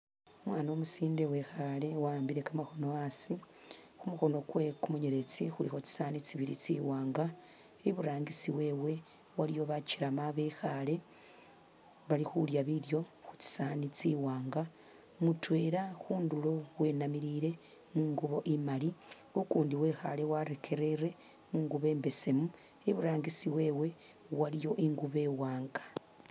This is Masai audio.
Umwana umusinde wekhale wa'ambile kamakhono asi khumukhono kwewe kumunyeletsi khulikho tsisaani tsi'wanga, iburangisi wewe iliyo bakyelema babekhale balikhulya bilyo khutsisowani tsi'wanga mutwela khundulo wenamilile ingubo imaali ukundi wekhale warekerere mungubo imbesemu iburangisi wewe waliyo ingubo iwanga